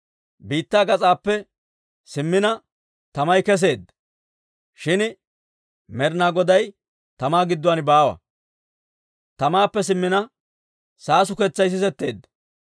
Biittaa gas'aappe simmina tamay kesseedda; shin Med'inaa Goday tamaa gidduwaan baawa. Tamaappe simmina saasuketsay sisetteedda.